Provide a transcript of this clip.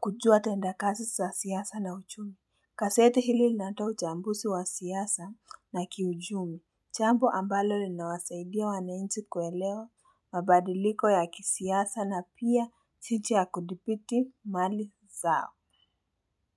kujua tendakazi za siasa na uchumi gaseti hili linatoa uchambuzi wa siasa na kiuchumi jambo ambalo linawasaidia wanainchi kuelewa mabadiliko ya kisiasa na pia jicho ya kudibiti mali zao.